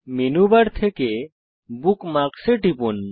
menu bar থেকে bookmarks এ টিপুন